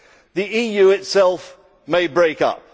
The EU itself may break up.